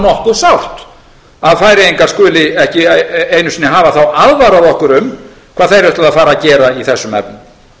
nú nokkuð sárt að færeyingar skuli þá ekki einu sinni hafa aðvarað okkur um hvað þeir ætluðu að fara að gera í þessum efnum